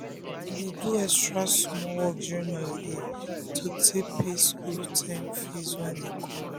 him dey do extra small work during holiday to take pay school term fees wey dey come.